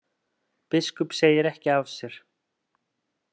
Biskup segir ekki af sér